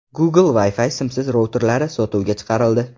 Google Wi-Fi simsiz routerlari sotuvga chiqarildi.